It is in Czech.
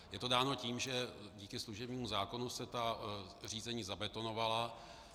Je to dáno tím, že díky služebnímu zákonu se ta řízení zabetonovala.